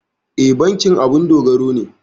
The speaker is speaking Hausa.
E, bankin abun dogaro ne.